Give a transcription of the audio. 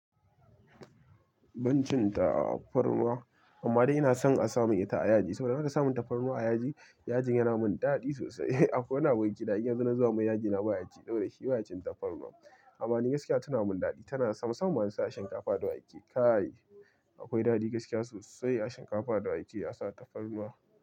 Ban cin tafarnuwa, amma dai ina son a samin ita a yaji saboda in aka samin tafarnuwa a yaji. Yajin yana mun daɗi sosai. Akwai wani abokina in yazo na zuba mai yaji na baya ci, saboda shi baya cin tafarnuwa. Amma ni gaskiya tana mun daɗi, tana sam musammam ma na sa a shinkafa da wake. Kai, akwai daɗi gaskiya sosai a shinkafa da wake a sa tafarnuwa.